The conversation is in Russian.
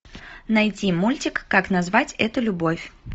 найти мультик как назвать эту любовь